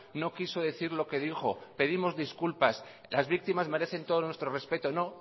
no quiso decir lo que dijo pedimos disculpas las víctimas merecen todo nuestro respeto no